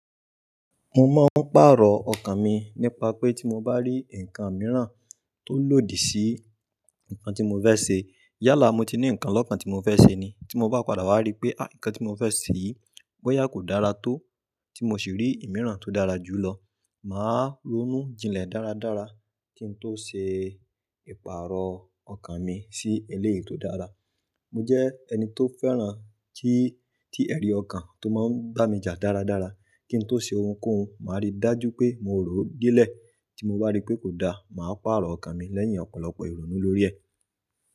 Mo máa ń pàrọ̀ ọkàn mi nípa pé tí mo bá rí ǹkan mìíràn tó lòdì sí ǹkan tí mo fẹ́ ṣe. Yálà mo ti ní ǹkan lọ́kàn tí mo fẹ́ ṣe ni. Tí mo bá padà wá rí pé, ày! Ǹkan tí mo fẹ́ ṣe bọ́yá kò dára tó tí mo sì rí ìmíràn tó dára jù lọ, màá ronú jinlẹ̀ dáradára kín tó ṣe ìpàrọ̀ ọkàn mi sí eléyìí tó dára. Mo jẹ́ ẹni tó fẹ́ràn tí, tí ẹ̀rí ọkàn tó máa ń bá mi jà dáradára kí n tó ṣe ohunkóhun. Màá rí dájú pé mo rò ó delẹ̀. Tí mo bá rí pé kò da, màá pàrọ̀ ọkàn mi lẹ́yìn ọ̀pọ̀lọpọ̀ ìrònú lórí ẹ̀.